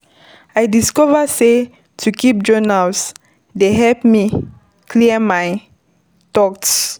I discover sey to keep journal dey help me clear my thoughts.